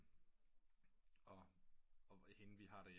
Og hende vi har der hjemme